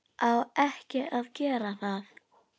Á ekki að gera það.